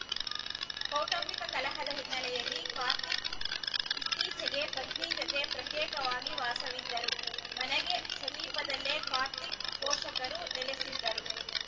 ಕೌಟುಂಬಿಕ ಕಲಹದ ಹಿನ್ನೆಲೆಯಲ್ಲಿ ಕಾರ್ತಿಕ್‌ ಇತ್ತೀಚೆಗೆ ಪತ್ನಿ ಜತೆ ಪ್ರತ್ಯೇಕವಾಗಿ ವಾಸವಿದ್ದರು ಮನೆಗೆ ಸಮೀಪದಲ್ಲೇ ಕಾರ್ತಿಕ್‌ ಪೋಷಕರು ನೆಲೆಸಿದ್ದರು